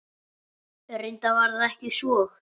Reyndar var það ekki svo.